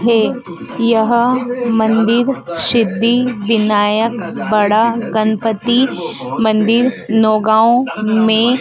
हे यह मंदिर सिद्धिविनायक बड़ा गणपती मंदिर नौगांव में--